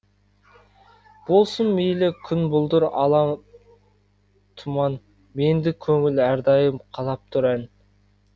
болсын мейлі күн бұлдыр ала тұман мендік көңіл әрдайым қалап тұр ән